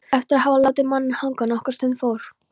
Eftir að hafa látið manninn hanga nokkra stund fór